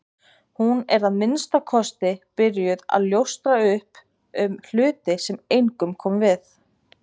Hún er að minnsta kosti byrjuð að ljóstra upp um hluti sem engum koma við.